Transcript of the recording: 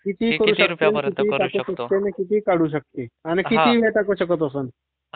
कितीही करू शकतो, कितीही काढू शकतो आणि कितीही काढू शकतो आणि कितीही हे टाकू शकत असं.